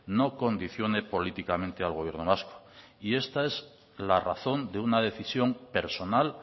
no condicione políticamente al gobierno vasco y esta es la razón de una decisión personal